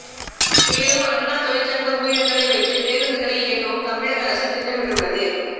மேலும் அண்ணா தொழிற்சங்க ஊழியர்களை வைத்து பேருந்தூகளை இயக்கவும் தமிழக அரசு திட்டமிட்டுள்ளது